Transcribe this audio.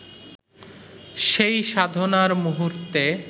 সেই সাধনার মুহূর্তে